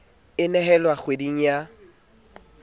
e a nehelwa kgweding ya